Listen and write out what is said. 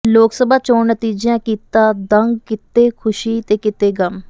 ਲੋਕ ਸਭਾ ਚੋਣ ਨਤੀਜਿਆਂ ਕੀਤਾ ਦੰਗ ਕਿਤੇ ਖੁਸ਼ੀ ਤੇ ਕਿਤੇ ਗਮ